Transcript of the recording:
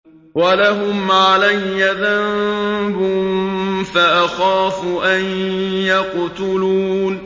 وَلَهُمْ عَلَيَّ ذَنبٌ فَأَخَافُ أَن يَقْتُلُونِ